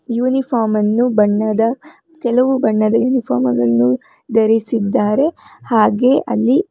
uniform ಅನ್ನು ಬಣ್ಣದ ಕೆಲವು ಬಣ್ಣದ ಯೂನಿಫಾರ್ಮ್ ಅನ್ನು ಧರಿಸಿದ್ದಾರೆ ಹಾಗೆ ಅಲ್ಲಿ--